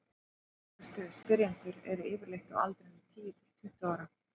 duglegustu spyrjendurnir eru yfirleitt á aldrinum tíu til tuttugu ára